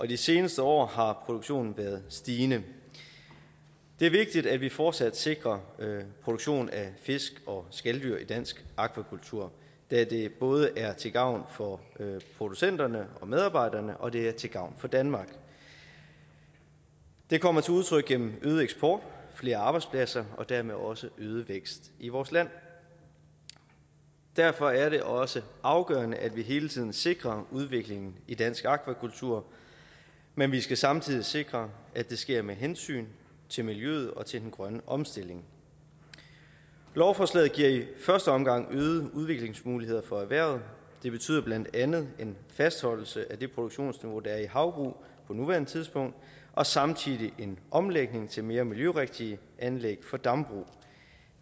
de seneste år har produktionen været stigende det er vigtigt at vi fortsat sikrer produktion af fisk og skaldyr i dansk akvakultur da det både er til gavn for producenterne og medarbejderne og det er til gavn for danmark det kommer til udtryk gennem øget eksport flere arbejdspladser og dermed også øget vækst i vores land derfor er det også afgørende at vi hele tiden sikrer udviklingen i dansk akvakultur men vi skal samtidig sikre at det sker med hensyntagen til miljøet og til den grønne omstilling lovforslaget giver i første omgang øget udviklingsmuligheder for erhvervet det betyder blandt andet en fastholdelse af det produktionsniveau der er i havbrug på nuværende tidspunkt og samtidig en omlægning til mere miljørigtige anlæg for dambrug